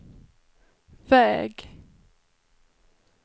väg